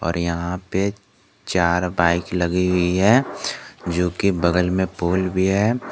यहां पे चार बाइक लगी हुई है जो कि बगल में पोल भी है।